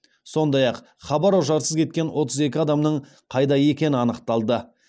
сондай ақ хабар ошарсыз кеткен отыз екі адамның қайда екені анықталды